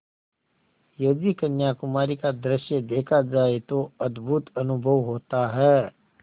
यदि कन्याकुमारी का दृश्य देखा जाए तो अद्भुत अनुभव होता है